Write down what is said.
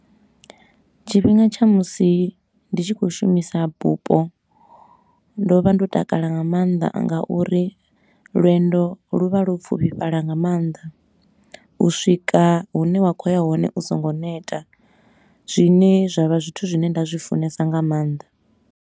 Tshifhinga tsha musi ndi tshi khou shumisa bupo, ndo vha ndo takala nga maanḓa nga uri lwendo lu vha lwo pfufhifhala nga maanḓa. U swika hune wa khou ya hone u so ngo neta, zwine zwa vha zwithu zwine nda zwi funesa nga maanḓa.